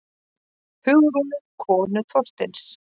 Hugrúnu, konu Þorsteins.